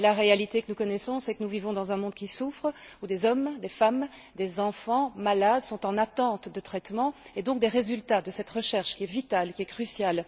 Mais la réalité que nous connaissons c'est que nous vivons dans un monde qui souffre, où des hommes, des femmes, des enfants, malades, sont en attente de traitement et donc des résultats de cette recherche, qui est vitale, qui est cruciale.